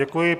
Děkuji.